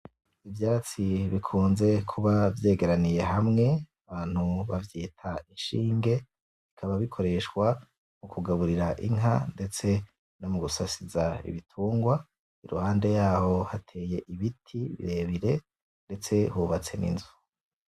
Ivyatsi bikunze kuba vyegeraniye hamwe, abantu bavyita ishinge bikaba bikoreshwa mu kugaburira inka ndetse no mu gusasiza ibitungwa. Iruhande yaho hateye ibiti birebire ndetse hubatse n'inzu.